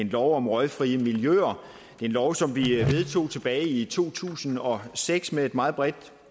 en lov om røgfri miljøer en lov som vi vedtog tilbage i to tusind og seks med et meget bredt